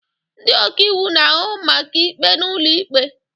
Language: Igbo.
Ndị ọka iwu na-ahụ maka ikpe n'ụlọ ikpe